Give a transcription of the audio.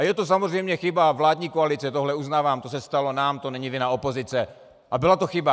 A je to samozřejmě chyba vládní koalice, tohle uznávám, to se stalo nám, to není vina opozice a byla to chyba.